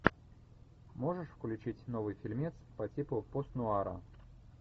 можешь включить новый фильмец по типу пост нуара